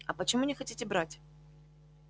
а почему не хотите брать